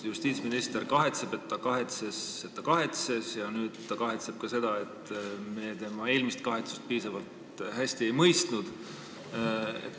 Justiitsminister kahetseb, et ta kahetses, et ta kahetses, ja nüüd ta kahetseb ka seda, et me tema eelmist kahetsust piisavalt hästi ei mõistnud.